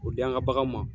O di an ka baganw ma